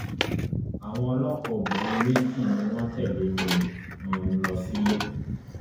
àwọn ọlọpàá obìnrin méjì ni wọn tẹlé mi um lọ sílé